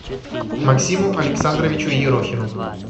максиму александровичу ерохину